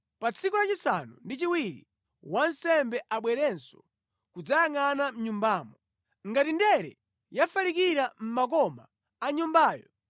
Pa tsiku la chisanu ndi chiwiri wansembe abwerenso kudzayangʼana mʼnyumbamo. Ngati ndere yafalikira mʼmakoma a nyumbayo,